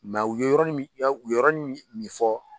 u ye yɔrɔnin min u ye yɔrɔrɔnin min min fɔ